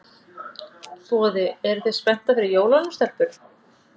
Boði: Eruð þið spenntar fyrir jólunum, stelpur?